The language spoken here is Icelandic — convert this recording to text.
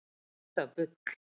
En það er bull.